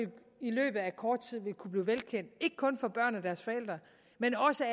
i løbet af kort tid ville kunne blive velkendt ikke kun for børn og deres forældre men også